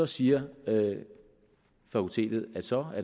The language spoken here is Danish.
siger fakultetet at så er